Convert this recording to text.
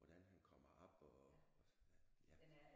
Hvordan han kommer op og ja